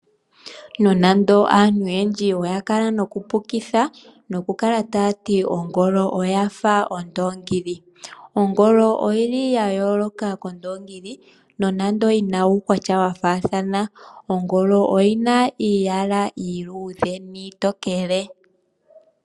Nonando aantu oyendji oya kala noku pukitha noku kala ta yati Ongolo oyafa Ondongili. Ongolo oyili ya yooloka kOndongili nonando yina uukwatya wa faathana. Ongolo oyina iiyala iiludhe niitokele.